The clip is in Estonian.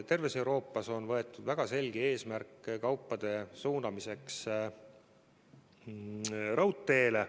Terves Euroopas on seatud väga selge eesmärk suunata kaubad raudteele.